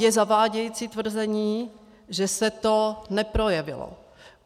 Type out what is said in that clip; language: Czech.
Je zavádějící tvrzení, že se to neprojevilo.